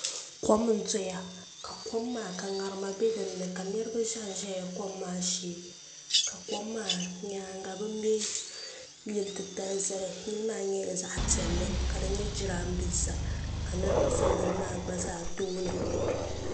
kom n doya kom maa ka karima do dini niriba shɛbi ʒɛla kom maa shɛɛ kom maa nyɛŋa be mɛ yili titali zali yili maa nyɛla zaɣ' piɛli ka di nyɛ jarinibɛsa ka niriba za yili maa gba tuuni